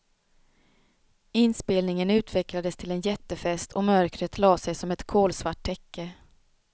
Inspelningen utvecklades till en jättefest och mörkret la sig som en kolsvart täcke.